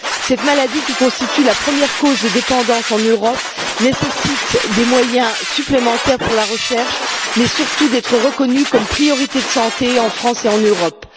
Cette maladie, qui constitue la première cause de dépendance en Europe, nécessite des moyens supplémentaires pour la recherche mais, surtout, d'être reconnue comme une question de santé prioritaire en France et en Europe.